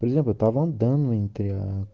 друзья поможем данный материал